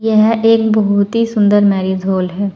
यह एक बहोत ही सुंदर मैरिज हाल है।